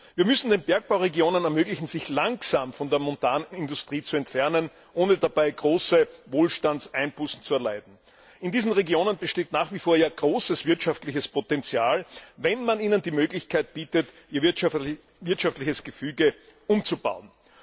Wir müssen den Bergbauregionen ermöglichen, sich langsam von der Montanindustrie zu entfernen, ohne dabei große Wohlstandseinbußen zu erleiden. In diesen Regionen besteht nach wie vor großes wirtschaftliches Potenzial, wenn man ihnen die Möglichkeit bietet, ihr wirtschaftliches Gefüge umzubauen.